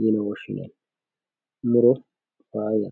yine woshshinanni muro faayyate.